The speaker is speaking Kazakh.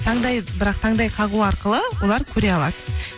таңдайы бірақ таңдай қағу арқылы олар көре алады